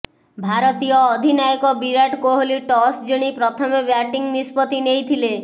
ଭାରତୀୟ ଅଧିନାୟକ ବିରାଟ କୋହଲି ଟସ୍ ଜିଣି ପ୍ରଥମେ ବ୍ୟାଟିଂ ନିଷ୍ପତ୍ତି ନେଇଥିଲେ